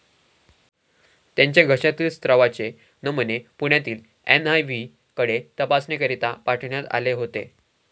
त्यांच्या घशातील स्त्रावाचे नमुने पुण्यातील एनआयव्हीकडे तपासणीकरीता पाठविण्यात आले होतो.